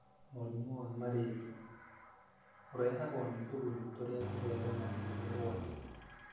Mũrimũ wa Malaria: Ũrehagwo nĩ tũgunyũ tũrĩa tũtheremagio nĩ rwagĩ,